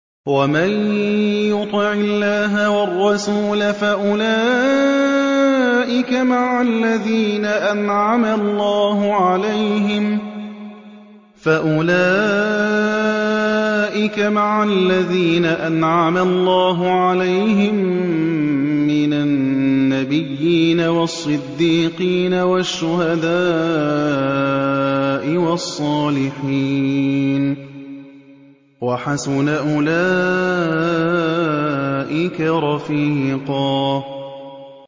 وَمَن يُطِعِ اللَّهَ وَالرَّسُولَ فَأُولَٰئِكَ مَعَ الَّذِينَ أَنْعَمَ اللَّهُ عَلَيْهِم مِّنَ النَّبِيِّينَ وَالصِّدِّيقِينَ وَالشُّهَدَاءِ وَالصَّالِحِينَ ۚ وَحَسُنَ أُولَٰئِكَ رَفِيقًا